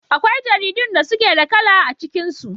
Akwai jaridun da suke da kala a cikin su.